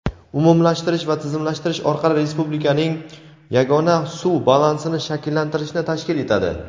umumlashtirish va tizimlashtirish orqali respublikaning yagona suv balansini shakllantirishni tashkil etadi.